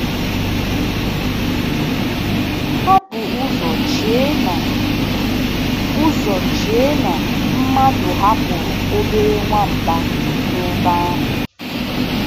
Ha bu ụzọ chee na ụzọ chee na mmadụ hapụrụ obere nwamba n'ebe ahụ.